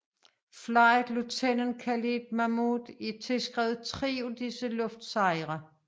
Flight Lieutenant Khalid Mahmoud er tilskrevet tre af disse luftsejre